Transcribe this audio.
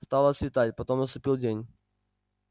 стало светать потом наступил день